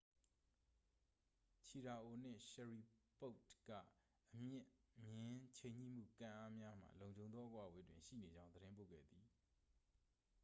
ချီရာအို နှင့် ရှရီပို့တ် က အမြင့်မျဉ်း ချိန်ညှိမှု ကန်အားများမှ လုံခြုံသော အကွာအဝေးတွင် ရှိနေကြောင်း သတင်းပို့ခဲ့သည်